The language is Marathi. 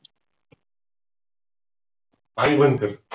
पाणी बंद कर